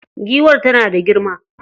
Giwar tana da girma.